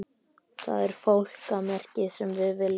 Það er fálkamerkið sem við viljum fá.